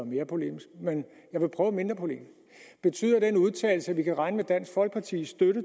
mere polemisk men jeg vil prøve mindre polemisk betyder den udtalelse at vi kan regne med dansk folkepartis